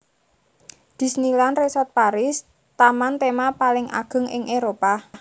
Disneyland Resort Paris taman tema paling ageng ing Éropah